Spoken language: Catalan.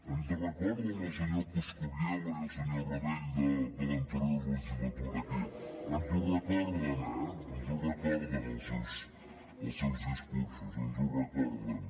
ens recorden el senyor coscubiela i el senyor rabell de l’anterior legislatura aquí ens ho recorden eh ens ho recorden els seus discursos ens ho recorden